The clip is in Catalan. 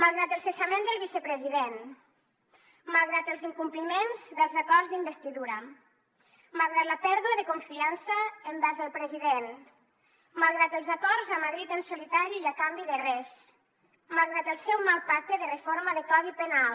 malgrat el cessament del vicepresident malgrat els incompliments dels acords d’investidura malgrat la pèrdua de confiança envers el president malgrat els acords a madrid en solitari i a canvi de res malgrat el seu mal pacte de reforma de codi penal